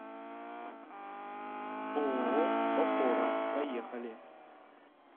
ооо опора поехали